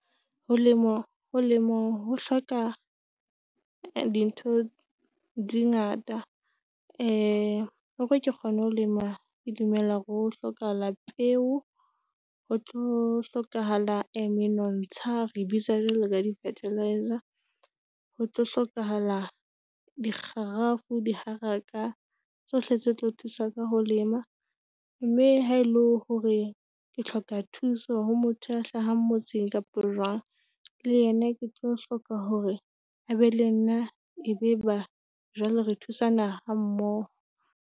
Ho lemo ho lemong ho hloka dintho dingata, e hore ke kgone ho lema ke dumela hore ho hlokahala peo, ho tlo hlokahala e menontsha. Re bitsa jwalo ka di-fertiliser, ho tlo hlokahala dikgarafu diharaka tsohle tse tlo thusa ka ho lema mme ha ele hore ke hloka thuso ho motho a hlahang motseng kapa jwang. Le yena ke tlo hloka hore a be le nna e be ba jwale re thusana hammoho.